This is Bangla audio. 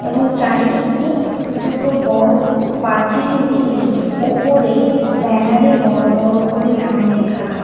এবং চারিদিকে দুটো বড় পাঁচিল দিয়ে ওপরে ব্যানারে বড় বড় করে নাম লেখা আ--